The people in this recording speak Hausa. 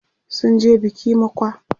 sunje biki mokwa